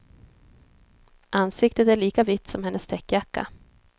Ansiktet är lika vitt som hennes täckjacka.